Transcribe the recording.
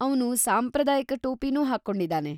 ಅವ್ನು ಸಾಂಪ್ರದಾಯಿಕ ಟೋಪಿನೂ ಹಾಕ್ಕೊಂಡಿದಾನೆ.